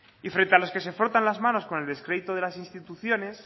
y frente a los que se frotan las manos con el descrédito de las instituciones